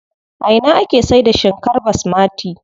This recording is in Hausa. A ina ake saida shinkar basmati?